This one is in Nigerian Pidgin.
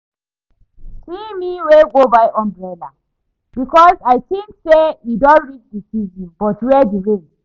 See me wey go buy umbrella because I think say e don reach the season but where the rain